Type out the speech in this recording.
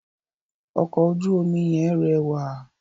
Ọkọ̀ ojú omi yẹn rẹwà.